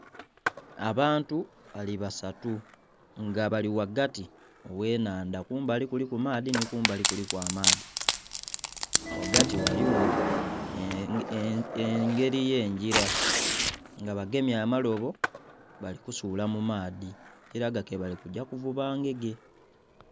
Abantu bali basatu nga bali ghagati ogh'ennhanda, kumbali kuliku maadhi nhi kumbali kuliku amaadhi. Ghagati ghaligho engeli y'engila. Nga bagemye amalobo bali kusuula mu maadhi, ekilaga ke bali kugya kuvuba ngege.